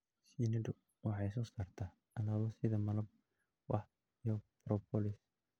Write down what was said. Shinnidu waxay soo saartaa alaabo sida malab, wax, iyo propolis.